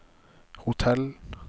hotell